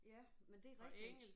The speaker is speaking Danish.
Ja men det er rigtigt